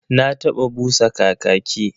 Na taba busa kakaki.